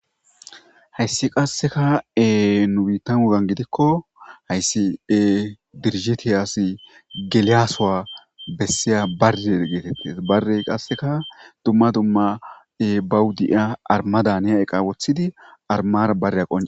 Hayssi qasseka ee nu biiththan wogan gidikko hayssi ee dirijjithiyaassi gelliya sohuwa bessiya barre geetheththes; barree qasseka dumma dumma ee bawu di7iyaa armadaniya eqa woththidi armaara barreya qoncci...